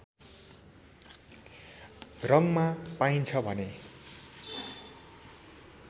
रङमा पाइन्छ भने